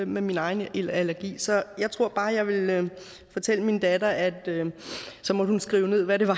med min egen allergi så jeg tror bare jeg ville fortælle min datter at hun så måtte skrive ned hvad det var